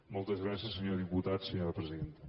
moltes gràcies senyor diputat senyora presidenta